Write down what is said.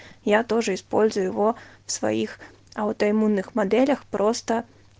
я тоже использую его в своих аутоиммунных моделях просто